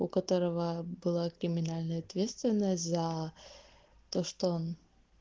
у которого была криминальная ответственность за то что